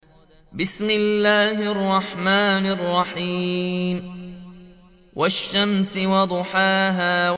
وَالشَّمْسِ وَضُحَاهَا